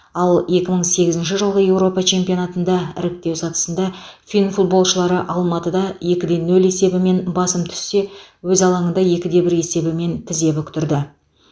ал екі мың сегізінші жылғы еуропа чемпионатында іріктеу сатысында фин футболшылары алматыда екі де нөл есебімен басым түссе өз алаңында екі де бір есебімен тізе бүктірді